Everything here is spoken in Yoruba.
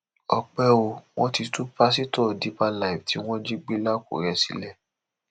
ọpẹ o wọn ti tú pásítọ deeper life tí wọn jí gbé lákùrẹ sílẹ